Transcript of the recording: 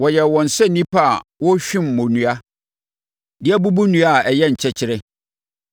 Wɔyɛɛ wɔn sɛ nnipa a wɔrehwim mmonnua de abubu nnua a ayɛ nkyɛkyerɛ.